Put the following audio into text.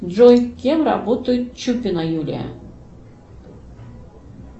джой кем работает чупина юлия